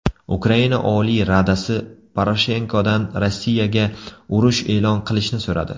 Ukraina Oliy Radasi Poroshenkodan Rossiyaga urush e’lon qilishni so‘radi.